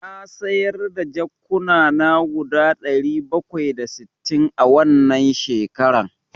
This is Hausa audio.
Na sayar da jakukkuna guda ɗari bakwai da sittin a wannan shekaran.